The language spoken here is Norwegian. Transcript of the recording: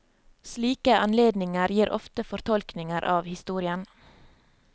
Slike anledninger gir ofte fortolkninger av historien.